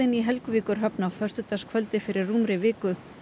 í Helguvíkurhöfn á föstudagskvöldið fyrir rúmri viku